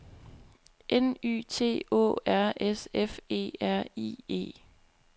N Y T Å R S F E R I E